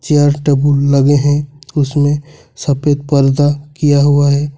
Chairs table लगे हैं उसमें सफेद पर्दा किया हुआ है।